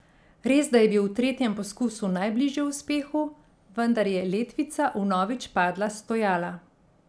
Resda je bil v tretjem poskusu najbližje uspehu, vendar je letvica vnovič padla s stojala.